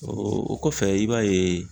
O o kɔfɛ i b'a ye